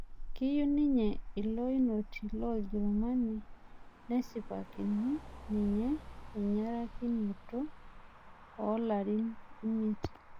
kayieu ninye ilo inoti loorjerumani nesipakini ninye enyarakinoto olarin imiet